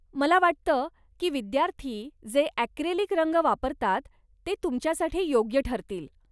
मला वाटतं की विद्यार्थी जे ऍक्रेलिक रंग वापरतात ते तुमच्यासाठी योग्य ठरतील.